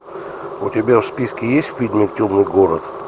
у тебя в списке есть фильм темный город